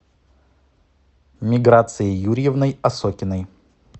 миграцией юрьевной осокиной